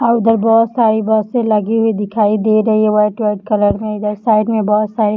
और उधर बहुत साडी बसे लगी हुई दिखाई दे रही है व्हाइट व्हाइट कलर इधर साइड में बहुत सारे --